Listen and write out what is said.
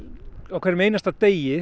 á hverjum einasta degi